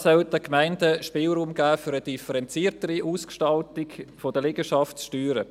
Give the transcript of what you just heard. Dieser soll den Gemeinden Spielraum für eine differenziertere Ausgestaltung der Liegenschaftssteuern geben.